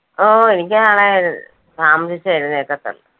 ഓ എനിക്ക് നാളെ അഹ് താമസിച്ചേ എഴുനേൽക്കത്തൊള്ളൂ.